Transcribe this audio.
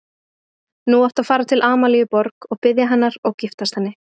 Nú áttu að fara til Amalíu Borg og biðja hennar og giftast henni.